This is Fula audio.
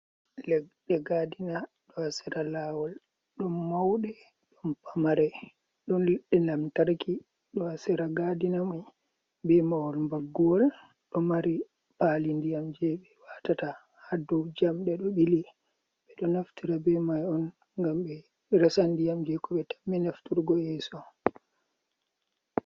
Leɗɗe gadina ɗo ha sera lawol, ɗon mauɗe ɗon pamare, ɗon leɗɗe lamtarki ɗo ha sera gadina mai be mahol baggowol ɗo mari pali ndiyam je ɓe watata ha dou jamɗe ɗo ɓili, ɓe ɗo naftira be mai on ngam ɓe resan ndiyam je ko ɓe tammi nafturgo yeso.